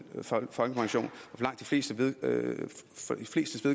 folkepension så